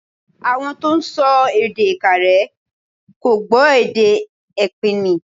Àwọn tó ń sọ èdè Ìkàrẹ́ kò gbọ́ èdè ẹpìnmì.